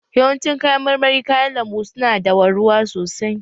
Yawancin kayan marmari kayan lambu su na dawa ruwa sosai